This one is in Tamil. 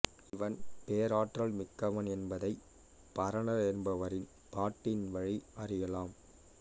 இவன் பேராற்றல் மிக்கவன் என்பதை பரணர் என்பவரின் பாட்டின் வழி அறியலாம்